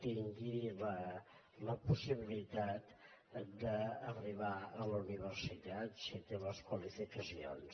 tingui la possibilitat d’arribar a la universitat si en té les qualificacions